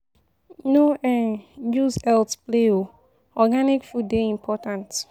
No um use your healt play o, organic food dey important.